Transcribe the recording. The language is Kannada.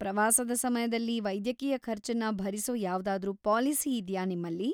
ಪ್ರವಾಸದ ಸಮಯದಲ್ಲಿ ವೈದ್ಯಕೀಯ ಖರ್ಚನ್ನ ಭರಿಸೋ ಯಾವ್ದಾದ್ರೂ ಪಾಲಿಸಿ ಇದ್ಯಾ ನಿಮ್ಮಲ್ಲಿ?